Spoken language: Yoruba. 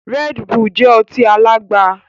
Red Bull jẹ ọtí alagba